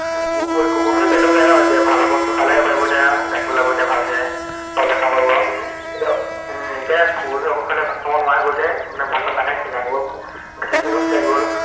কুকুৰ, কুকুৰটোও তেনেকুৱাই ন এতিয়া ভাল ভাল বস্তু খালেহে পাৰিব এতিয়া আৰু, গাখীৰ ওলাব তেতিয়া ভালকে। পোৱলী কেইটাক খোৱাব পাৰিব। উম কুকুৰজনীক ঔষধ খোৱালে, ভাত খাব নোৱোৰা হৈ গল যে, মানে ভাত চাত নাখাই ক্ষীণাই গল, পোৱালীকিটাও ক্ষীণাই গল